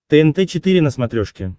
тнт четыре на смотрешке